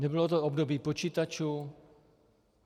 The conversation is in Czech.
Nebylo to období počítačů.